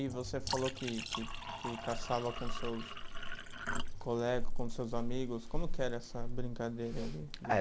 E você falou que que que caçava com seus colegas, com seus amigos, como que era essa brincadeira aí? Eh